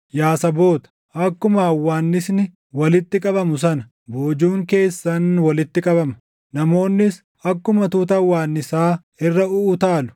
Yaa saboota, akkuma hawwaannisni walitti qabamu sana boojuun keessan walitti qabama; namoonnis akkuma tuuta hawwaannisaa irra uʼutaalu.